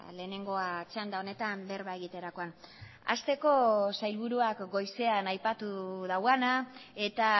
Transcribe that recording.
lehenengoa txanda honetan berba egiterakoan hasteko sailburuak goizean aipatu duena eta